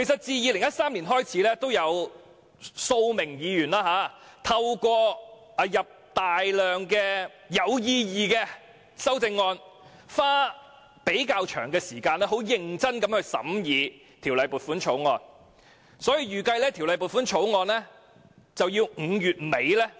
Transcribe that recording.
自2013年開始，每年均有數位議員透過提出大量有意義的修正案，花較長時間認真審議撥款條例草案。